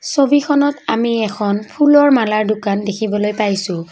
ছবিখনত আমি এখন ফুলৰ মালাৰ দোকান দেখিবলৈ পাইছোঁ।